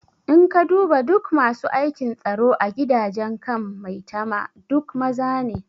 In ka duba duk masu aikin tsaro a gidajen kan maitama duk maza ne